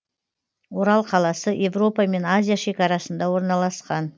орал қаласы европа мен азия шекарасында орналасқан